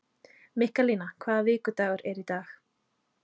Mikkalína, hvaða vikudagur er í dag?